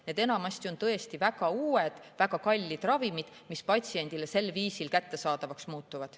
Need on enamasti tõesti väga uued, väga kallid ravimid, mis patsiendile sel viisil kättesaadavaks muutuvad.